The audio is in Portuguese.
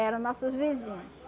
Eram nossos vizinho.